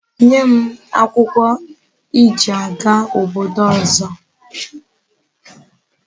Nye m akwukwo e ji aga obodo ozo gi